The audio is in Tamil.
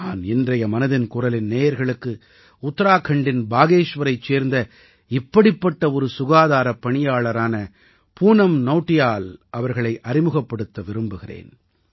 நான் இன்றைய மனதின் குரலின் நேயர்களுக்கு உத்தராகண்டின் பாகேஷ்வரைச் சேர்ந்த இப்படிப்பட்ட ஒரு சுகாதாரப் பணியாளரான பூனம் நௌடியால் அவர்களை அறிமுகப்படுத்த விரும்புகிறேன்